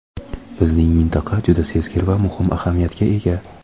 Bizning mintaqa juda sezgir va muhim ahamiyatga ega.